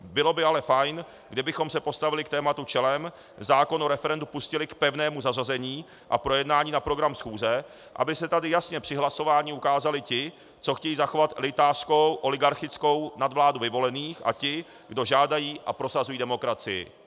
Bylo by ale fajn, kdybychom se postavili k tématu čelem, zákon o referendu pustili k pevnému zařazení a projednání na program schůze, aby se tady jasně při hlasování ukázali ti, co chtějí zachovat elitářskou oligarchickou nadvládu vyvolených, a ti, kdo žádají a prosazují demokracii.